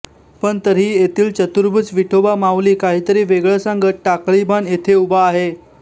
पण तरिही येथील चतुर्भुज विठोबा माऊली काहितरी वेगळं सांगत टाकळीभान मध्ये उभा आहे